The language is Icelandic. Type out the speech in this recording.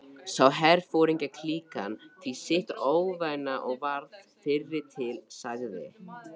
Sá herforingjaklíkan því sitt óvænna og varð fyrri til, sagði